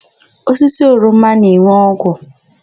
Osisi oroma na-enwe ogwu.